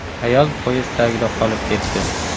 Ayol poyezd tagida qolib ketdi.